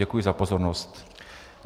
Děkuji za pozornost.